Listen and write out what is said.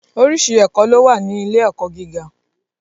Orísìí ẹ̀kọ́ ló wà ní ilé - ẹ̀kọ́ gíga